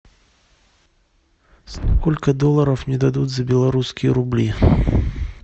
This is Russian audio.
сколько долларов мне дадут за белорусские рубли